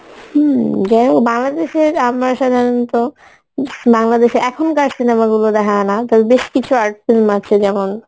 হম যাইহোক বাংলাদেশের আমরা সাধারণত বাংলাদেশের এখনকার cinema গুলো দেখা হয়না তবে বেশ কিছু art film আছে যেমন